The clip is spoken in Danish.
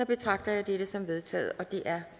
betragter jeg dette som vedtaget det er